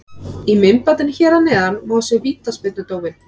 Í myndbandinu hér að neðan má sjá vítaspyrnudóminn.